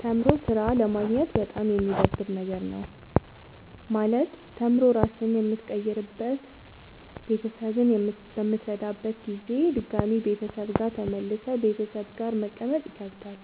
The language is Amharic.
ተምሮ ስራ አለማግኘት በጣም የሚደብር ነገር ነው። ማለት ተምሮ ራስህን በምትቀይርበት ቤተሰብህን በምትረዳበት ጊዜ ድጋሚ ቤተሰብ ጋር ተመልሰህ ቤተሰብ ጋር መቀመጥ ይከብዳል።